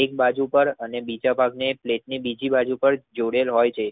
એક બાજુ પાર અને બીજા બાજુ પર જોડેલ હોય છે.